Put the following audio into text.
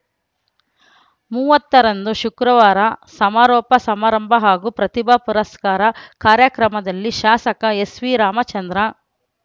ಮೂವತ್ತರಂದು ಶುಕ್ರವಾರ ಸಮಾರೋಪ ಸಮಾರಂಭ ಹಾಗೂ ಪ್ರತಿಭಾ ಪುರಸ್ಕಾರ ಕಾರ್ಯಕ್ರಮದಲ್ಲಿ ಶಾಸಕ ಎಸ್‌ವಿರಾಮಚಂದ್ರ